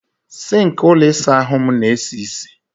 Sink ụlọ ịsa ahụ m na-esi isi.